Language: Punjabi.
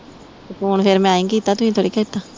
ਤੇ ਫੋਨ ਫਿਰ ਮੈਂ ਈ ਕੀਤਾ ਤੁਸੀਂ ਥੋੜੀ ਕੀਤਾ